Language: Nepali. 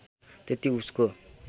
त्यति उसको